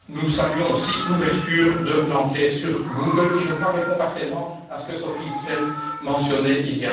Nous saluons aussi l'ouverture de l'enquête sur Google qui, je crois, réponds partiellement à ce que Sophie in t Veld mentionnait il